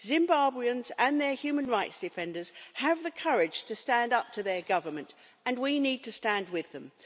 Zimbabweans and their human rights defenders have the courage to stand up to their government and we need to stand with them.